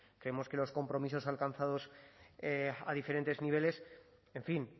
creemos que los compromisos alcanzados a diferentes niveles en fin